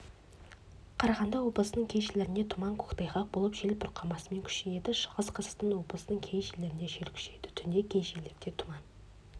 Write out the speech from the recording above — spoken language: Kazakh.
қарағанды облысының кей жерлерінде тұман көктайғақ болып жел бұрқасынмен күшейеді шығыс қазақстан облысының кей жерлерінде жел күшейеді түнде кей жерлерде тұман